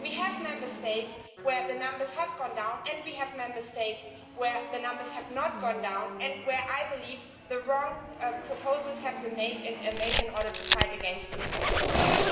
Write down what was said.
We have Member States where the numbers have gone down and we have Member States where the numbers have not gone down, and where I believe the wrong proposals have been made in order to fight against youth unemployment.